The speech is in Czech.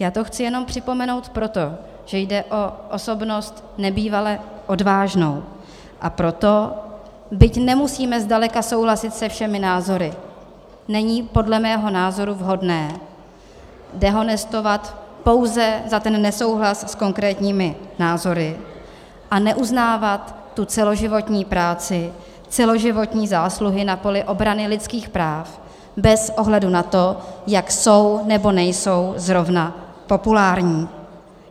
Já to chci jenom připomenout proto, že jde o osobnost nebývale odvážnou, a proto, byť nemusíme zdaleka souhlasit se všemi názory, není podle mého názoru vhodné dehonestovat pouze za ten nesouhlas s konkrétními názory a neuznávat tu celoživotní práci, celoživotní zásluhy na poli obrany lidských práv bez ohledu na to, jak jsou nebo nejsou zrovna populární.